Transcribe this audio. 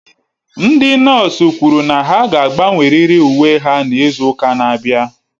Ndị nọọsụ kwụrụ na ha ga-agbanwerịrị uwe ha n'izu ụka na-abịa